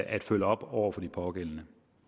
at følge op over for de pågældende